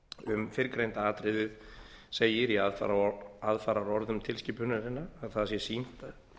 um fyrrgreinda atriðið segir í aðfaraorðum tilskipunarinnar að það sé sýnt að